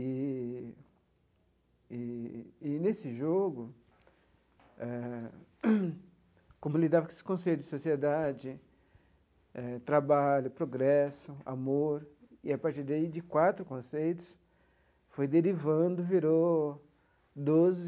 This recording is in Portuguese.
E e e, nesse jogo, é como lidar com esse conceito de sociedade, trabalho, progresso, amor, e, a partir daí, de quatro conceitos, foi derivando, virou doze.